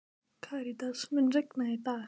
Karítas, mun rigna í dag?